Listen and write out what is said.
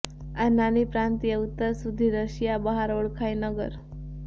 આ નાની પ્રાંતીય ઉત્તર સુધી રશિયા બહાર ઓળખાય નગર